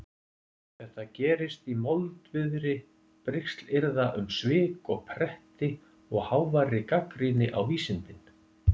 Þetta gerist í moldviðri brigslyrða um svik og pretti og háværri gagnrýni á vísindin.